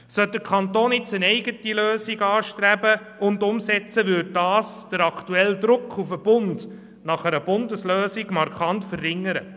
Sollte der Kanton eine eigene Lösung anstreben und umsetzen, würde dies den aktuellen Druck auf den Bund, eine Bundeslösung zu finden, markant verringern.